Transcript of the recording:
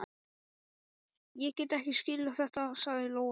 Ég get ekki skilið þetta, sagði Lóa.